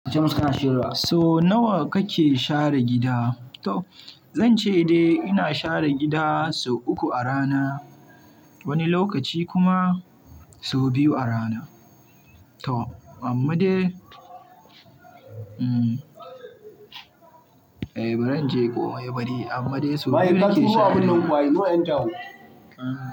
So nawa kake share gida? To zan ce dai ina share gida sau uku a rana, wani lokaci kuma sau biyu a rana. Toh amma dai, bari inje ka, bari. Amma dai sau biyu nake share gida.